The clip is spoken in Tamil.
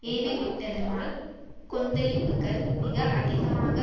ஏவிவிட்டதனால் கொந்தளிப்புக்கள் மிக அதிகமாக